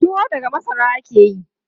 Tuwo daga masara ake yi.